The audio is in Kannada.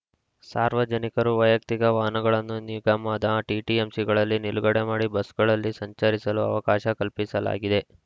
ಸಾರ್ವಜನಿಕರು ವೈಯಕ್ತಿಕ ವಾಹನಗಳನ್ನು ನಿಗಮದ ಟಿಟಿಎಂಸಿಗಳಲ್ಲಿ ನಿಲುಗಡೆ ಮಾಡಿ ಬಸ್‌ಗಳಲ್ಲಿ ಸಂಚರಿಸಲು ಅವಕಾಶ ಕಲ್ಪಿಸಲಾಗಿದೆ